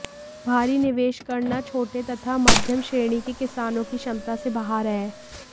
भारी निवेश करना छोटे तथा मध्यम श्रेणी के किसानों की क्षमता से बाहर हैं